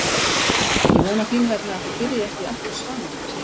Ég vona þín vegna að þið byrjið ekki aftur saman, segir Svenni.